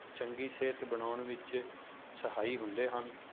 ਚੰਗੀ ਸਿਹਤ ਬਣਾਉਣ ਵਿੱਚ ਸਹਾਈ ਹੁੰਦੇ ਹਨ?